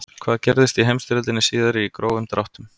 hvað gerðist í heimsstyrjöldinni síðari í grófum dráttum